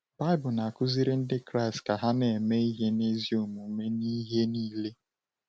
Baịbụl na-akuziri Ndị Kraịst ka ha na-eme ihe n’ezi omume n’ihe niile.